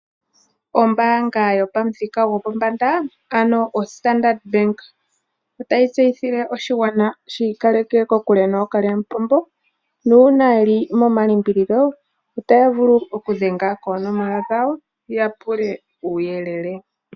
Ombaanga yopamuthika gopombanda ano oStandard Bank otayi tseyithile oshigwana shi ikaleke kokule nookalyamupombo nuuna yeli momalimbililo otaya vulu oku dhenga koonomola dhawo, ya pule uuyelele.